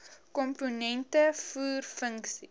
komponente voer funksies